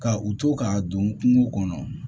Ka u to k'a don kungo kɔnɔ